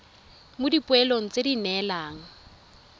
mo dipoelong tse di neelwang